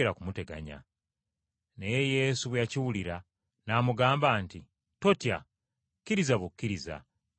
Naye Yesu bwe yakiwulira n’amugamba nti, “Totya! Kkiriza bukkiriza, ajja kuba mulamu.”